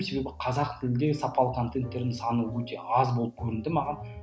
себебі қазақ тілінде сапалы контенттердің саны өте аз болып көрінді маған